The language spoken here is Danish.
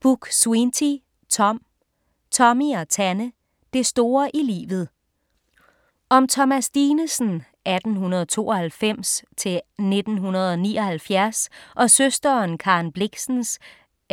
Buk-Swienty, Tom: Tommy og Tanne: det store i livet Om Thomas Dinesen (1892-1979) og søsteren Karen Blixens (1885-1962)